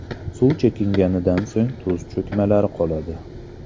Suv chekingandan so‘ng tuz cho‘kmalari qoladi.